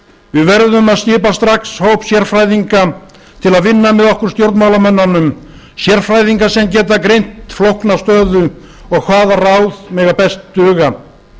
við verðum að skipa strax hóp sérfræðinga til að vinna með okkur stjórnmálamönnunum sérfræðinga sem geta greint flókna stöðu og hvaða ráð mega best duga